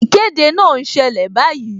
Ìkéde náà ń ṣẹlẹ̀ báyìí